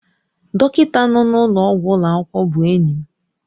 Dọkịta nọ n'ụlọọgwụ ụlọ akwụkwọ bụ enyi m.